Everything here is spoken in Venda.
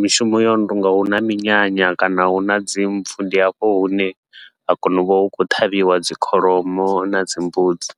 mishumo yono tonga huna minyanya kana huna dzi mpfhu, ndi hafho hune ha kona uvha hu khou ṱhavhiwa dzi kholomo nadzi mbudzi.